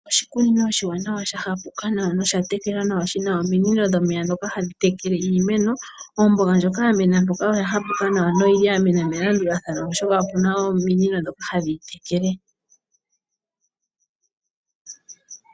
Oshikunino oshiwaanawa shahapuka nawa nosha tekelwa nawa ominino dhomeya ndhoka hadhi tekele iimeno. Omboga ndjoka ya mena mpoka oya hapuka nawa noyili ya mena melandulathano, oshoka opuna ominino ndhoka hadhi yi tekele.